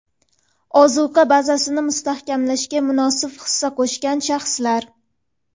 ozuqa bazasini mustahkamlashga munosib hissa qo‘shgan shaxslar.